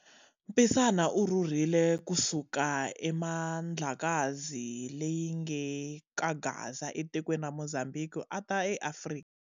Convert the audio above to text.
Mpisana u rhurhile ku suka eMandlakazi leyinge ka Gaza etikweni ra Mozambhiki ata eAfrika.